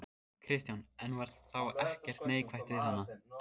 Kristján: En var þá ekkert neikvætt við hana?